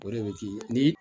O de bɛ ki ni